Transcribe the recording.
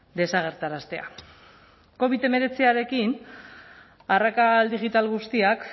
desagerraraztea covid hemeretzirekin arrakala digital guztiak